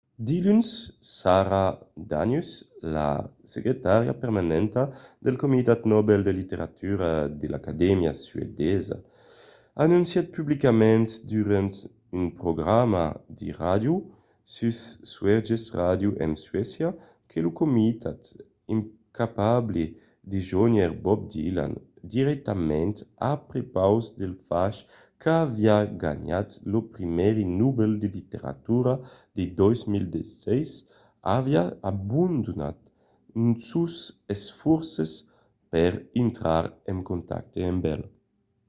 diluns sara danius la secretària permanenta del comitat nobel de literatura de l'acadèmia suedesa anoncièt publicament durant un programa de ràdio sus sveriges radio en suècia que lo comitat incapable de jónher bob dylan dirèctament a prepaus del fach qu'aviá ganhat lo prèmi nobel de literatura de 2016 aviá abandonat sos esfòrces per intrar en contacte amb el